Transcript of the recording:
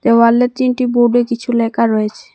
দেওয়ালে তিনটি বোর্ডে কিছু লেখা রয়েছে।